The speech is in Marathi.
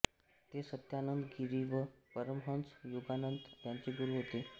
ते सत्यानंद गिरी व परमहंस योगानंद यांचे गुरू होते